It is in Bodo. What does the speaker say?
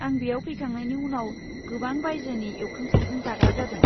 आं बेयाव फैखांनायनि उनाव गोबां बायजोनि एवखां सावखां जाग्रा जादों।